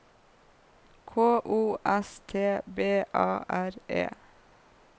K O S T B A R E